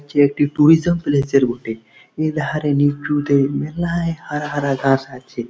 এটি একটি ট্যুরিজিয়া প্লেজার বটে। এধারে নীচুতে মেলায় হারা হারা ঘাস আছে।